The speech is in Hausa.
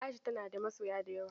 Aisha tana da masoya da yawa.